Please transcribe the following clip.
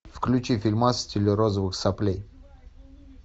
включи фильмас в стиле розовых соплей